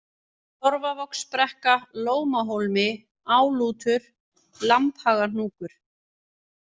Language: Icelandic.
Torfavogsbrekka, Lómahólmi, Álútur, Lambhagahnúkur